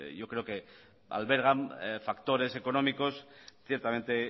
yo creo que albergan factores económicos ciertamente